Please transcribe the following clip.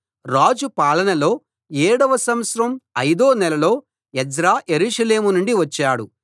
రాజు పాలనలో ఏడో సంవత్సరం ఐదో నెలలో ఎజ్రా యెరూషలేము వచ్చాడు